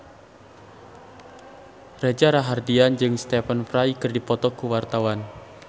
Reza Rahardian jeung Stephen Fry keur dipoto ku wartawan